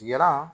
Kira